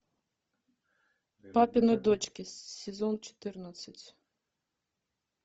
папины дочки сезон четырнадцать